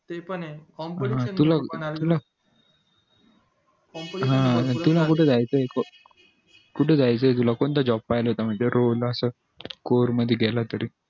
ते पण ये competition खूप होणार ये कुठे जायच्या तुला कोणता job पाहायला रोज असं score मध्ये गेला तरी